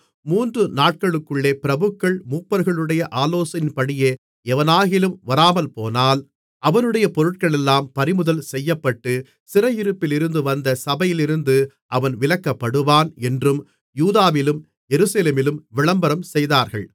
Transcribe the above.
மூன்று நாட்களுக்குள்ளே பிரபுக்கள் மூப்பர்களுடைய ஆலோசனையின்படியே எவனாகிலும் வராமல்போனால் அவனுடைய பொருட்களெல்லாம் பறிமுதல் செய்யப்பட்டு சிறையிருப்பிலிருந்து வந்த சபையிலிருந்து அவன் விலக்கப்படுவான் என்றும் யூதாவிலும் எருசலேமிலும் விளம்பரம் செய்தார்கள்